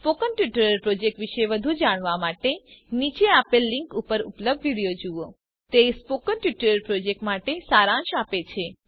spoken tutorial project વિષે વધુ જાણવા માટે નીચે આપેલ લીંક ઉપર ઉપલબ્ધ વિડીઓ જુઓ httpspoken tutorialorgWhat is a Spoken Tutorial તે સ્પોકન ટ્યુટોરીયલ પ્રોજેક્ટ માટે સારાંશ આપે છે